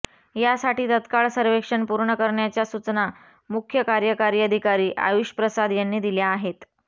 यासाठी तत्काळ सर्वेक्षण पूर्ण करण्याच्या सूचना मुख्य कार्यकारी अधिकारी आयुष प्रसाद यांनी दिल्या आहेत